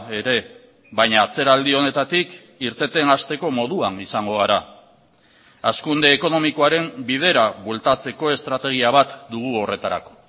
ere baina atzeraldi honetatik irteten hasteko moduan izango gara hazkunde ekonomikoaren bidera bueltatzeko estrategia bat dugu horretarako